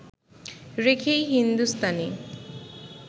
রেখেই হিন্দুস্তানি